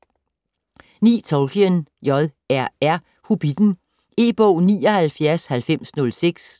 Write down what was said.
Tolkien, J. R. R.: Hobbitten E-bog 799006